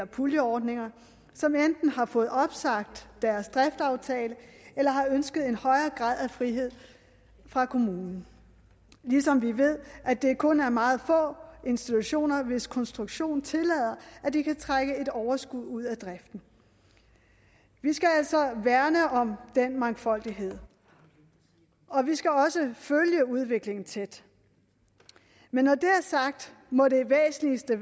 puljeordninger som enten har fået opsagt deres driftaftale eller har ønsket en højere grad af frihed fra kommunen ligesom vi ved at det kun er meget få institutioner hvis konstruktion tillader at de kan trække et overskud ud af driften vi skal altså værne om den mangfoldighed og vi skal også følge udviklingen tæt men når det er sagt må det væsentligste